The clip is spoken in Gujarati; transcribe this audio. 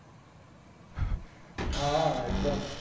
હા એક્દમ